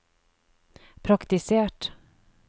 praktisert